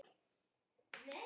Rými getur átt við